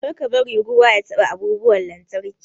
Kar ka bari ruwa ya taɓa abubuwan lantarki.